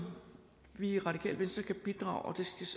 vi i radikale venstre kan bidrage